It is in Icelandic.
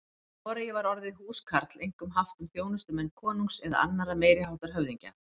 Í Noregi var orðið húskarl einkum haft um þjónustumenn konungs eða annarra meiri háttar höfðingja.